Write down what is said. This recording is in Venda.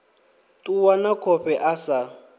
ṱuwa na khofhe a sa